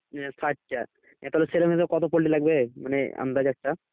ষাট টা এতোগুলো ছেলেমেয়ের কত poultry লাগবে মানে আন্দাজ একটা।